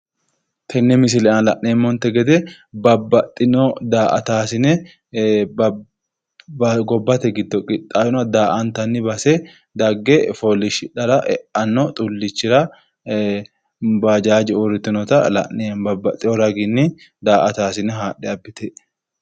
Tenne misile aana la'neemmonte gede babbaxxitino daa'atasine gobbate giddo qixxaawinoha daa''antara base dagge fooliishshidhara eanno xullichira ee baajaaje uurritinota la'neemmo babaxitewo raginni daa''ataasine haadhe abbitinote.